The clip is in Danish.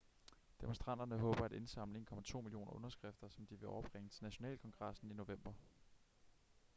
demonstranterne håber at indsamle 1,2 millioner underskrifter som de vil overbringe til nationalkongressen i november